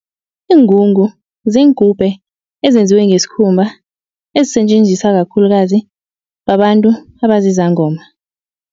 Iingungu ziingubhe ezenziwe ngesikhumba ezisetjenziswa kakhulukazi babantu abazizangoma.